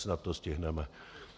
Snad to stihneme.